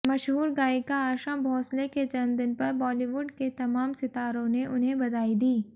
मशहूर गायिका आशा भोंसले के जन्मदिन पर बॉलीवुड के तमाम सितारों ने उन्हें बधाई दी